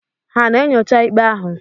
Ha na-enyocha ikpe ahụ?